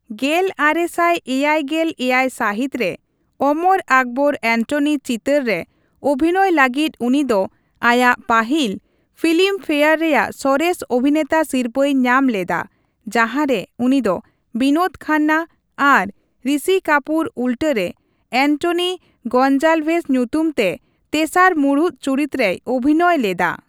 ᱜᱮᱞ ᱟᱨᱮ ᱥᱟᱭ ᱮᱭᱟᱭ ᱜᱮᱞ ᱮᱭᱟᱭ ᱥᱟᱹᱦᱤᱛ ᱨᱮ 'ᱚᱢᱚᱨ ᱟᱠᱵᱚᱨ ᱮᱱᱴᱚᱱᱤ' ᱪᱤᱛᱟᱹᱨ ᱨᱮ ᱚᱵᱷᱤᱱᱚᱭ ᱞᱟᱹᱜᱤᱫ ᱩᱱᱤ ᱫᱚ ᱟᱭᱟᱜ ᱯᱟᱹᱦᱤᱞ ᱯᱷᱤᱞᱤᱢ ᱯᱷᱮᱭᱟᱨ ᱨᱮᱭᱟᱜ ᱥᱚᱨᱮᱥ ᱚᱵᱷᱤᱱᱮᱛᱟ ᱥᱤᱨᱯᱟᱹᱭ ᱧᱟᱢ ᱞᱮᱫᱟ, ᱡᱟᱦᱟᱸ ᱨᱮ ᱩᱱᱤ ᱫᱚ ᱵᱤᱱᱳᱫ ᱠᱷᱟᱱᱱᱟ ᱟᱨ ᱨᱤᱥᱤ ᱠᱟᱯᱩᱨ ᱩᱞᱴᱟᱹ ᱨᱮ ᱮᱱᱴᱚᱱᱤ ᱜᱚᱱᱡᱟᱞᱵᱷᱮᱥ ᱧᱩᱛᱩᱢ ᱛᱮ ᱛᱮᱥᱟᱨ ᱢᱩᱲᱩᱫ ᱪᱩᱨᱤᱛ ᱨᱮᱭ ᱚᱵᱷᱤᱱᱚᱭ ᱞᱮᱫᱟ ᱾